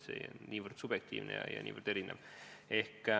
See on niivõrd subjektiivne ja niivõrd erinev.